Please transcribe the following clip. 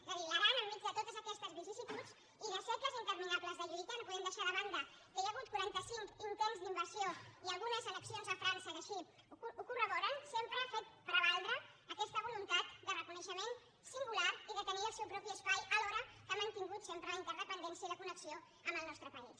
és a dir l’aran enmig de totes aquestes vicissituds i de segles interminables de lluita no podem deixar de banda que hi ha hagut quaranta cinc intents d’invasió i algunes annexions a frança que així ho corroboren sempre ha fet prevaldre aquesta voluntat de reconeixement singular i de tenir el seu propi espai alhora que ha mantingut sempre la interdependència i la connexió amb el nostre país